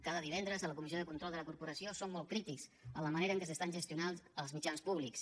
cada divendres a la comissió de control de la corporació som molt crítics en la manera en què s’estan gestionant els mitjans públics